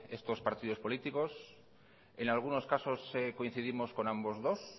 estos partidos políticos en algunos casos coincidimos con ambos dos